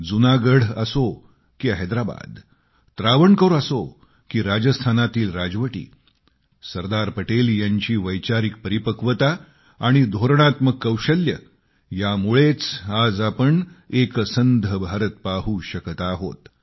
जुनागढ असो की हैदराबाद त्रावणकोर असो की राजस्थानातील राजवटी सरदार पटेल यांची वैचारिक परिपक्वता आणि धोरणात्मक कौशल्य यामुळेच आज आपण एकसंध भारत पाहू शकत आहोत